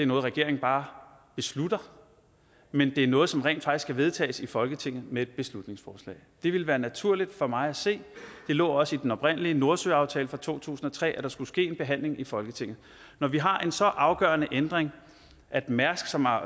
noget regeringen bare beslutter men at det er noget som rent faktisk skal vedtages i folketinget med et beslutningsforslag det ville være naturligt for mig at se det lå også i den oprindelige nordsøaftale fra to tusind og tre at der skulle ske en behandling i folketinget når vi har en så afgørende ændring at mærsk som har